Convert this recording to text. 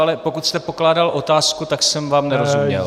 Ale pokud jste pokládal otázku, tak jsem vám nerozuměl.